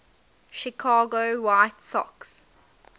chicago white sox